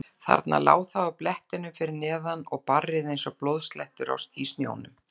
Þarna lá það á blettinum fyrir neðan og barrið eins og blóðslettur í snjónum.